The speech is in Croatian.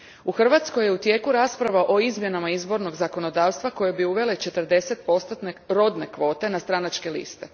U Hrvatskoj je u tijeku rasprava o izmjenama izbornog zakonodavstva koje bi uvele četrdesetpostotne rodne kvote na stranačke liste.